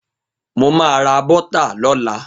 Mo ma ra bọ́tà lọ́la.